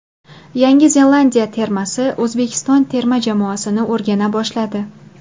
Yangi Zelandiya termasi O‘zbekiston terma jamoasini o‘rgana boshladi.